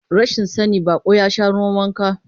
Rashin sani, baƙo ya sha ruwan wanka.